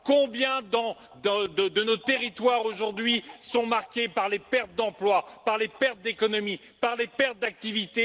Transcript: Combien de nos territoires aujourd'hui sont marqués par les pertes d'emplois, par les pertes économiques, par les pertes d'activité?